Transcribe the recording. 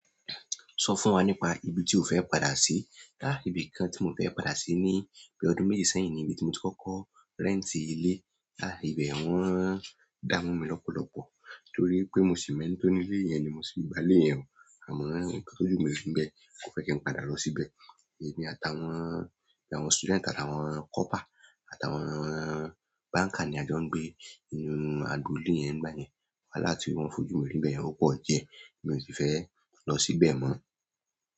Sọ fún wa nípa ibi tí o fẹ́ padà sí. A ibi kan tí mo fẹ́ padà sí ni bí ọdún méje sẹ́yìn níbi tí mo ti kọ́kọ́ rẹ́ǹtì ilé. Láàárín ibẹ̀ wón dá mu mi lọpọlọpọ torí pé mo sì mẹ́ntọ̀ ní ilé yẹn ni mo se gba ilé yẹn. Àmọ́ nkan tojú mi rí ń bẹ́ẹ̀, kò fẹ́ kí n padà lọ síbẹ̀. Èmi àtàwọn, àtàwọn student, àtàwọn copper, àtàwọn banker ni a jọ ń gbé nínú agbolé yẹn nígbà yẹn. Wáhalá ti wọ́n fojú mi rí ni bẹ́ẹ̀ yẹn o pọ̀ diẹ, èmi ò sì fẹ́ lọ síbẹ̀ mọ́.